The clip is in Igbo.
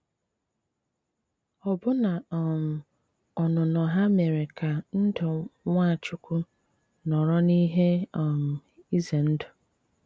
Ọ́bụ́ná um ọ́nụnọ́ há méré ká ndụ́ Nwáchúkwú nọrọ n’íhé um ízé ndụ́!